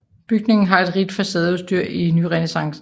Bygningen har et rigt facadeudstyr i nyrenæssance